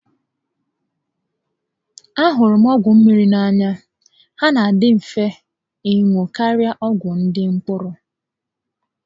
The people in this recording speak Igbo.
A hụrụ m ọgwụ mmiri n'anya, há nà adị mfe ịṅụ karịa ọgwụ ndị mkpụrụ